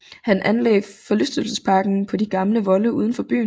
Han anlagde forlystelsesparken på de gamle volde uden for byen